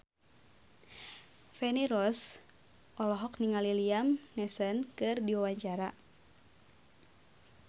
Feni Rose olohok ningali Liam Neeson keur diwawancara